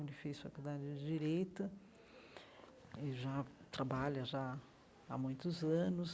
Ele fez faculdade de Direita e já trabalha já há muitos anos.